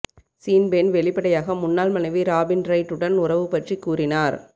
scene Penn வெளிப்படையாக முன்னாள் மனைவி ராபின் ரைட் உடன் உறவு பற்றி கூறினார்